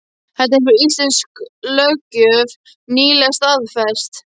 Þetta hefur íslensk löggjöf nýlega staðfest.